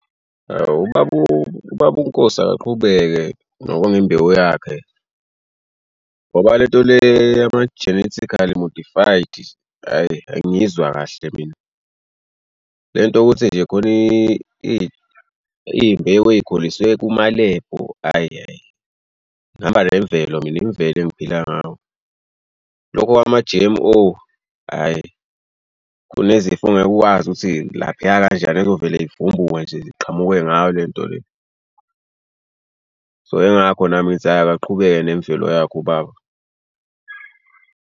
Awu ubaba ubaba uNkosi akaqhubeke nokonga imbewu yakhe ngoba le nto le yama-genetically mortified hhayi angiyizwa kahle mina. Le nto yokuthi nje khona iy'mbewu ey'khuliswe kumalebhu. Ayi ayi ngihamba nemvelo mina imvelo engiphila ngayo lokho kwama-G_M_O hhayi. Kunezifo ongeke uwazi ukuthi laphaya kanjani ezovele yivumbuke nje ziqhamuke ngayo le nto le. So ingakho nami ngithi ayi akaqhubeke nemvelo yakhe ubaba.